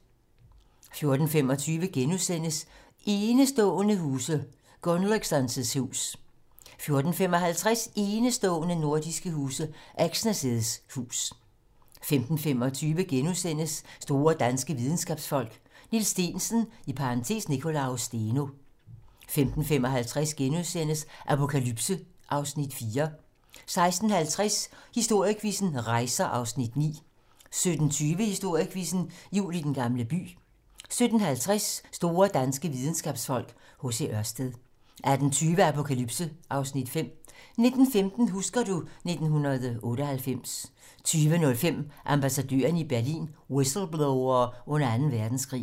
14:25: Enestående nordiske huse - Gunnløgsson's hus * 14:55: Enestående nordiske huse - Exner's hus 15:25: Store danske videnskabsfolk: Niels Steensen (Nicolaus Steno) * 15:55: Apokalypse (Afs. 4)* 16:50: Historiequizzen: Rejser (Afs. 9) 17:20: Historiequizzen: Jul i Den Gamle By 17:50: Store danske videnskabsfolk: H.C. Ørsted 18:20: Apokalypse (Afs. 5) 19:15: Husker du ... 1998 20:05: Ambassadørerne i Berlin: Whistleblowere under Anden Verdenskrig